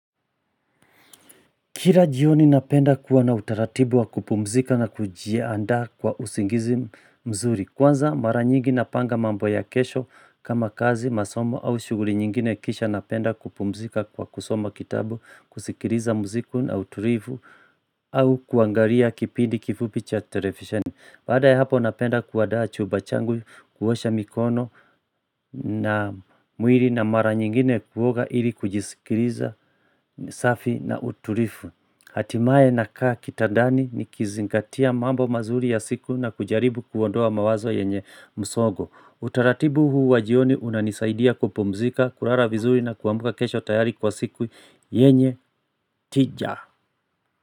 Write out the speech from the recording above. Kila jioni napenda kuwa na utaratibu wa kupumzika na kujiandaa kwa usingizi mzuri. Kwanza mara nyingi na panga mambo ya kesho kama kazi, masomo au shughuli nyingine kisha napenda kupumzika kwa kusoma kitabu, kusikiliza mziki na utulivu au kuangalia kipindi kifupi cha televisheni. Baada ya hapo napenda kuandaa chumba changu, kuosha mikono na mwili na mara nyingine kuoga ili kujisikiliza safi na utulivu. Hatimaye nakaa kitandani nikizingatia mambo mazuri ya siku na kujaribu kuondoa mawazo yenye msongo. Utaratibu huu wa jioni unanisaidia kupumzika, kulala vizuri na kuamka kesho tayari kwa siku yenye tija.